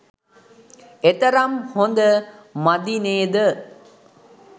එතරම් හොඳ මදි නේද.